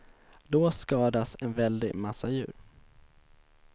Då skadas en väldig massa djur.